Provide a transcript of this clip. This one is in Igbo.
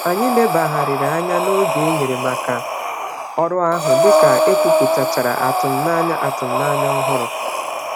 Anyị lebagharịrị anya n'oge enyere màkà ọrụ ahụ, dịka ekwuputachara atụmanya atụmanya ọhụrụ